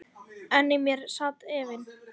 En í mér sat efinn.